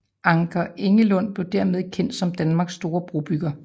Anker Engelund blev dermed kendt som Danmarks store brobygger